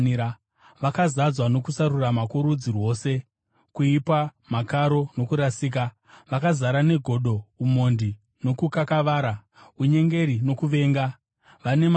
Vakazadzwa nokusarurama kworudzi rwose, kuipa, makaro nokurasika. Vakazara negodo, umhondi, nokukakavara, unyengeri nokuvenga. Vane makuhwa,